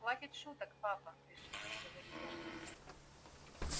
хватит шуток папа решительно говорю я